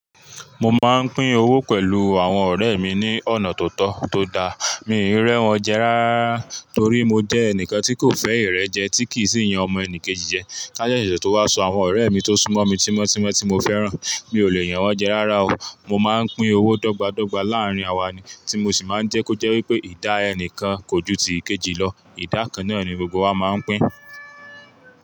Mo máa ń pín owó pẹ̀lú àwọn ọ̀rẹ́ mi ní ọ̀nà tó tọ́ tó dá. Mi ò rẹ́ wọn jẹ rárára torí mo jẹ́ ẹnìkan tí kò fẹ́ ìrẹ́ jẹ tí kì í sì yan ọmọ ẹnì kejì jẹ. Ká jẹ́jẹ́ tó wá sọ àwọn ọ̀rẹ́ mi tó súnmọ́ mi tímọ́ tímọ́ tí mo fẹ́ràn. Mi ò lè yan wọ́n jẹ rárá o. Mo máa ń pín owó dọ́gba dọ́gba láàrín wa ni tí mo sì máa ń jẹ́ kó jẹ́ wípé ìdá ẹnìkan kò ju ti kejì lọ. Ìdá kan náà ni gbogbo wa máa ń pín.